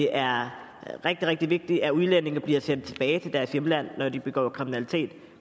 er rigtig rigtig vigtigt at udlændinge bliver sendt tilbage til deres hjemland når de begår kriminalitet